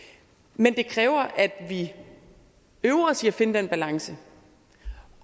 men det kræver at vi øver os i finde den balance